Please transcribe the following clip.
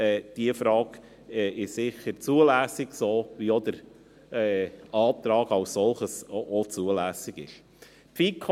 Diese Frage ist sicher ebenso zulässig wie der Antrag als solcher zulässig ist.